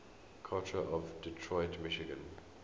culture of detroit michigan